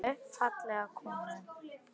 Unga konu, fallega konu.